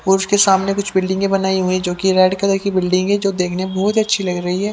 और उसके सामने कुछ बिल्डिंगें बनाई हुई जो कि रेड कलर की बिल्डिंग है जो देखने में बहुत ही अच्छी लग रही है।